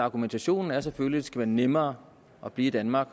argumentationen er selvfølgelig skal være nemmere at blive i danmark